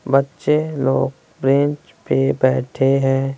बच्चे लोग बेंच पे बैठे हैं।